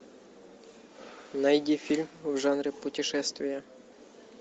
найди фильм в жанре путешествие